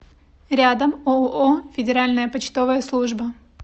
рядом ооо федеральная почтовая служба